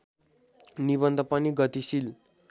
निबन्ध पनि गतिशील